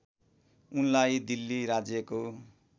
उनलाई दिल्ली राज्यको